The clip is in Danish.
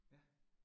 Ja